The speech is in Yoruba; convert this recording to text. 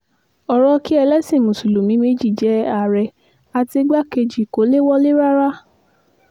ọrọ̀ kí ẹlẹ́sìn mùsùlùmí méjì jẹ́ ààrẹ àti igbákejì kó lè wọlé rárá